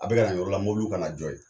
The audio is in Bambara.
A bɛɛ kana nin yɔrɔ la mobiliw kana jɛs